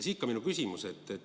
Siit minu küsimus.